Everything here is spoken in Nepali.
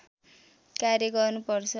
कार्य गर्नुपर्छ